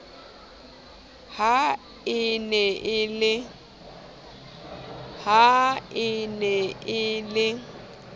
ha e ne e le